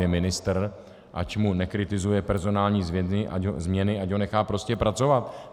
Je ministr, ať mu nekritizuje personální změny, ať ho nechá prostě pracovat!